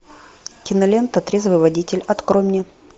кинолента трезвый водитель открой мне